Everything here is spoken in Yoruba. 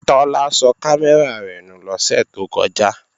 Tọ́lá sọ kámẹ́rà rẹ̀ nù lọ́sẹ̀ tó kọjá